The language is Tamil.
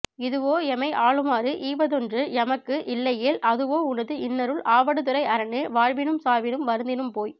இதுவோ எமை ஆளுமாறு ஈவதொன்று எமக்கு இல்லையேல் அதுவோ உனது இன்னருள் ஆவடுதுறை அரனே வாழினும் சாவினும் வருந்தினும் போய்